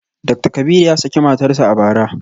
Dakta Kabiru ya saki matarsa ​​a bara